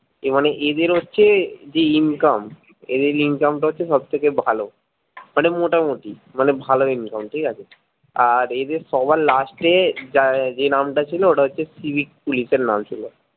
এ মানে এদের হচ্ছে যে income এদের income টা হচ্ছে সবথেকে ভালো মানে মোটামুটি মানে ভালো income ঠিকাছে আর এদের সবার লাষ্টে যা যে নামটা ছিলো ওটা হচ্ছে ওটা civic পুলিশের নাম ছিলো